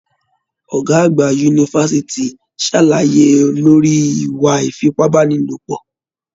Ọgá àgbà yunifásítì sàlàyé lórí ìwà ifipabanilopọ.